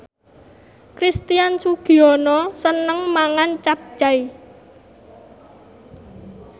Christian Sugiono seneng mangan capcay